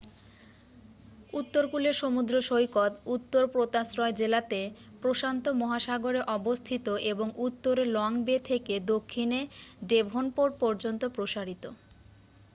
উত্তরকূলের সমুদ্র সৈকত উত্তর পোতাশ্রয় জেলাতে প্রশান্ত মহাসাগরে অবস্থিত এবং উত্তরে লং বে থেকে দক্ষিণে ডেভনপোর্ট পর্যন্ত প্রসারিত।